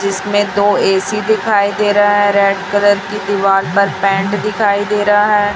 इसमें तो ऐसी दिखाई दे रहा है रेड कलर की दीवार पर पेंट दिखाई दे रहा है।